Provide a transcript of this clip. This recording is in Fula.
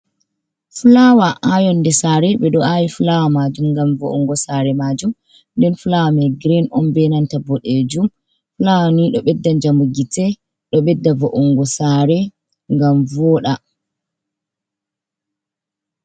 Fulawa haa yonnde saare, ɓe ɗo aawi fulawa maajum, ngam vo’unngo saare maajum. Nden fulawa may girin on, be nanta boɗeejum fulawa ni, ɗo ɓedda njamu gite, ɗo ɓedda vo’unngo saare, ngam vooɗa.